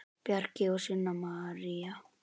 Bjarki og Sunna María.